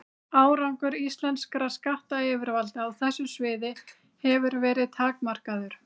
Árangur íslenskra skattyfirvalda á þessu sviði hefur verið takmarkaður.